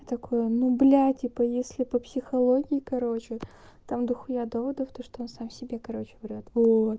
такой ну блядь типа если по психологии короче там дохуя доводов то что он сам себе короче говорят вот